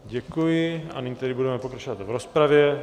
Děkuji a nyní tedy budeme pokračovat v rozpravě.